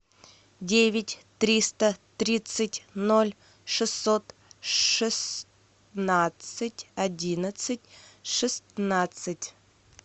девять триста тридцать ноль шестьсот шестнадцать одиннадцать шестнадцать